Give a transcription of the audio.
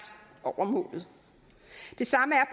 over målet det samme er